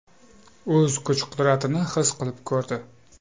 O‘z kuch-qudratini his qilib ko‘rdi.